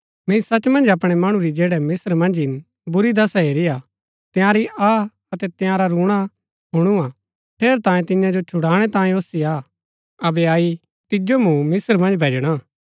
मैंई सच मन्ज अपणै मणु री जैड़ै मिस्त्र मन्ज हिन बुरी दशा हेरी हा तंयारी आह अतै तंयारा रूणा हुणआ ठेरैतांये तियां जो छुड़ानै तांयें ओसी आ अबै अई तिजो मूँ मिस्त्र मन्ज भैजणा